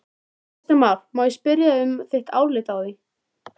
Kristján Már: Má ég spyrja um þitt álit á því?